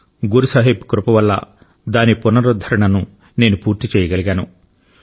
గురు సాహిబ్ కృప వల్ల దాని పునరుద్ధరణను నేను పూర్తి చేయగలిగాను